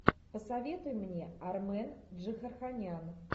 посоветуй мне армен джигарханян